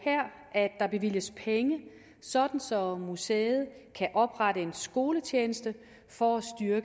at der bevilges penge så så museet kan oprette en skoletjeneste for